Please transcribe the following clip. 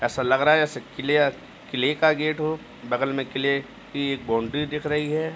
ऐसा लग रहा है जैसे क्लियर क्ले का गेट हो बगल में क्ले की एक बौंडरी दिख रही है।